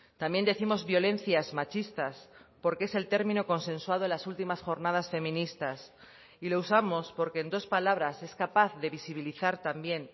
también décimos violencias machistas porque es el término consensuado en las últimas jornadas feministas y lo usamos porque en dos palabras es capaz de visibilizar también